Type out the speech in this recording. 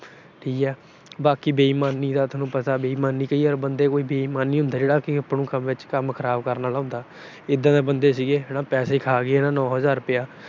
ਠੀਕ ਆ। ਬਾਕੀ ਬੇਈਮਾਨੀ ਦਾ ਥੋਨੂੰ ਪਤਾ, ਬੇਈਮਾਨੀ ਕਈ ਵਾਰ ਬੰਦਾ ਕੋਈ ਬੇਈਮਾਨ ਹੁੰਦਾ ਜਿਹੜਾ ਕੰਮ ਖਰਾਬ ਕਰਨ ਆਲਾ ਹੁੰਦਾ। ਇਦਾਂ ਦੇ ਬੰਦੇ ਸੀਗੇ ਹਨਾ ਪੈਸੇ ਖਾ ਗਏ ਹਨਾ ਨੌ ਹਜਾਰ ਰੁਪਇਆ।